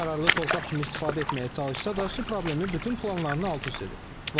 Əkinə yararlı torpaq kimi istifadə etməyə çalışsa da su problemi bütün planlarını alt-üst edib.